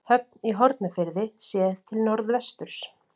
Höfn í Hornafirði séð til norðvesturs.